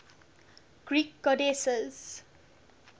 greek goddesses